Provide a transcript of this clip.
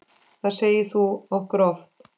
Það sagðir þú okkur oft.